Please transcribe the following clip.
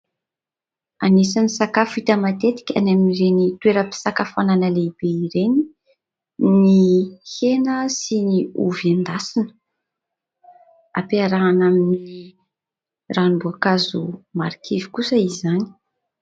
Anisan'ny sakafo hita matetika any amin'ireny toera-pisakafoanana lehibe ireny ny hena sy ny ovy endasina ; ampiarahana amin'ny ranom-boankazo marikivy kosa izany.